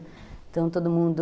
Então todo mundo...